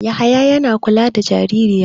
Yahaya yana kula da jaririya.